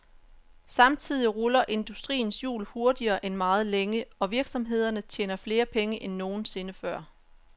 Samtidig ruller industriens hjul hurtigere end meget længe, og virksomhederne tjener flere penge end nogen sinde før.